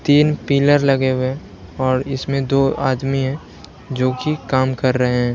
तीन पिलर लगे हुए हैं और इसमें दो आदमी हैं जो कि काम कर रहे हैं।